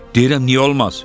Deyirəm niyə olmaz?